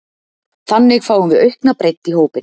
Þannig fáum við aukna breidd í hópinn.